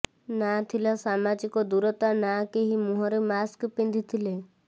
ନା ଥିଲା ସାମାଜିକ ଦୂରତା ନା କେହି ମୁହଁରେ ମାସ୍କ ପିନ୍ଧିଥିଲେ